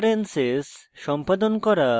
preferences সম্পাদন করা